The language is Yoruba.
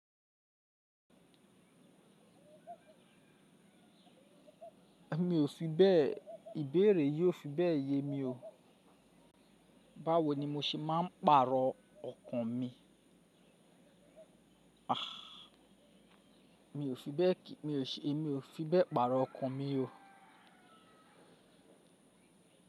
Mi ò fi bẹ́ẹ̀, ìbéèrè yii o fi bẹ́ẹ̀ yemi ó. Báwo ni mo ṣe máa ń pàrọ̀ ọkàn mi? Mi ò fi bẹ́ẹ̀ kì, mi ò ṣe, emi ò fi bẹ́ẹ̀ pàrọ̀ ọkàn mi o.